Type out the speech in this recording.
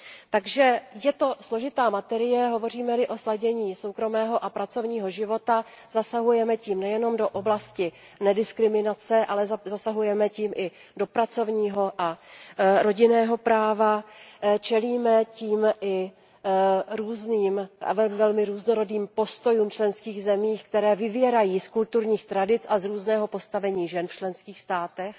Takže je to složitá materie, hovoříme li o sladění soukromého a pracovního života, zasahujeme tím nejenom do oblasti nediskriminace, ale zasahujeme tím i do pracovního a rodinného práva, čelíme tím i velmi různorodým postojům v členských zemích, které vyvěrají z kulturních tradic a z různého postavení žen v členských státech,